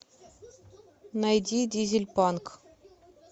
найди дизельпанк